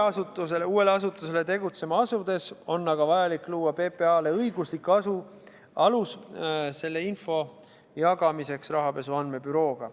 Uue asutuse tegutsema asudes on aga vajalik luua PPA-le õiguslik alus selle info jagamiseks Rahapesu Andmebürooga.